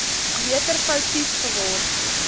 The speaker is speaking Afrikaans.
meter foutief geword